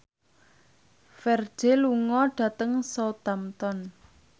Ferdge lunga dhateng Southampton